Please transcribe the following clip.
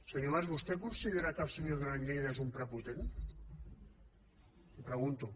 senyor mas vostè considera que el senyor duran lleida és un prepotent li ho pregunto